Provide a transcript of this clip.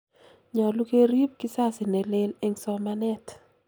nyolu kerip kizazi nelel eng somanet